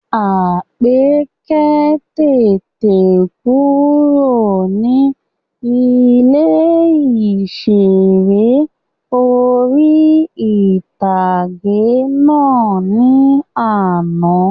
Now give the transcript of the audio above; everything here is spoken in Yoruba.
Àpèkẹ́ tètè kúrò ní ilé ìseré orí-ìtágé náà ní àná